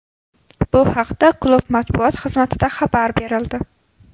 Bu haqda klub matbuot xizmatida xabar berildi .